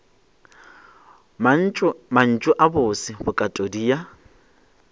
mantšu a bose bokatodi ya